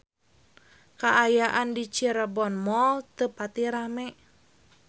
Kaayaan di Cirebon Mall teu pati rame